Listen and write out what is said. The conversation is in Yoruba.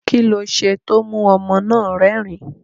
Kí lo ṣe tí ó mú ọmọ náà rẹ́rìn-ín?